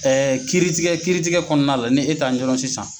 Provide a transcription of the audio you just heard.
kiiri tigɛ kiiri tigɛ kɔnɔna la ni e t'a ɲɛdɔn sisan